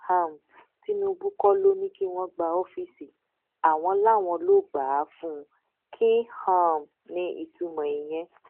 um tinúbú kọ ló ní kí wọn gba ọfíìsì àwọn làwọn lọọ gbà á fún un kín um ní ìtumọ ìyẹn